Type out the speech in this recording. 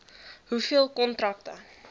hoeveel kontrakte